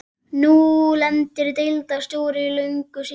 Nú lendir deildarstjóri í löngu símtali.